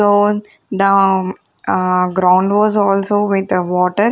floor down ah ground was also with ah water.